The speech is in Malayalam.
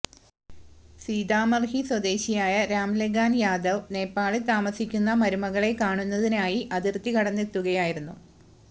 സിതാമര്ഹി സ്വദേശിയായ രാം ലഗാന് യാദവ് നേപ്പാളില് താമസിക്കുന്ന മരുമകളെ കാണുന്നതിനായി അതിര്ത്തി കടന്നെത്തുകയായിരുന്നു